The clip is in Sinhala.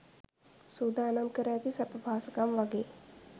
සූදානම් කර ඇති සැප පහසුකම් වගෙයි.